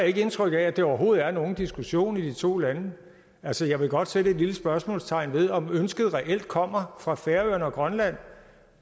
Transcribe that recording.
ikke indtryk af at det overhovedet er nogen diskussion i de to lande altså jeg vil godt sætte et lille spørgsmålstegn ved om ønsket reelt kommer fra færøerne og grønland